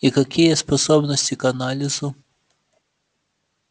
и какие способности к анализу